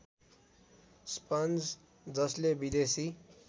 sponge जसले विदेशी